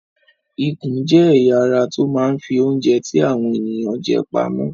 Ikùn jẹ́ ẹ̀ya ara tó máa ń fi oúnjẹ tí àwọn ènìyàn jẹ pamọ́.